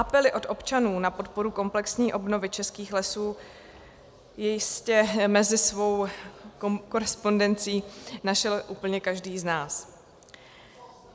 Apely od občanů na podporu komplexní obnovy českých lesů jistě mezi svou korespondencí našel úplně každý z nás.